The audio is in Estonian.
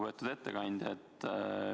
Lugupeetud ettekandja!